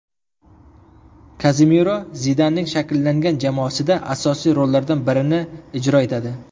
Kazemiro Zidanning shakllangan jamoasida asosiy rollardan birini ijro etadi.